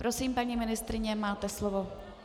Prosím, paní ministryně, máte slovo.